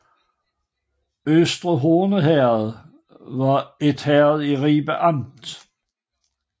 Øster Horne Herred var et herred i Ribe Amt